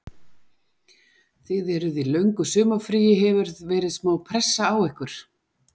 Þið eruð í löngu sumarfríi, hefur verið smá pressa á ykkur?